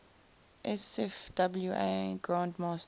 sfwa grand masters